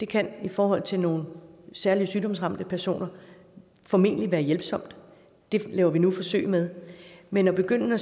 kan i forhold til nogle særligt sygdomsramte personer formentlig være hjælpsomt og det laver vi nu et forsøg med men at begynde at